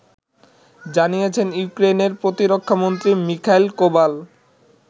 জানিয়েছেন ইউক্রেইনের প্রতিরক্ষামন্ত্রী মিখাইল কোভাল